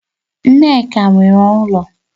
Nneka nwere ulo